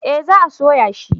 Eh za a soya shi